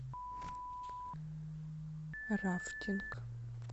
рафтинг